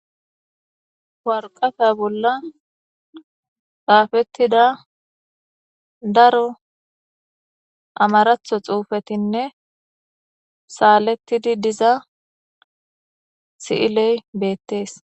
warqafe bolla gaafettida daro amaratho xuufetinne saalettidi diza si7iley beettees